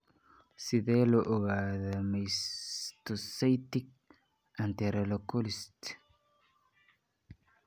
Sidee loo ogaadaa mastocytic enterocolits?